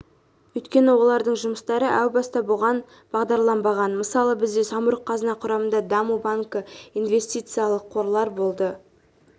өйткені олардың жұмыстары әу баста бұған бағдарланбаған мысалы бізде самұрық-қазына құрамында даму банкі инвестициялық қорлар болды